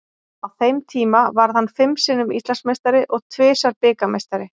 Á þeim tíma varð hann fimm sinnum Íslandsmeistari og tvisvar bikarmeistari.